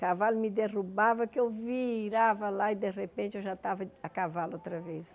Cavalo me derrubava que eu virava lá e de repente eu já estava a cavalo outra vez.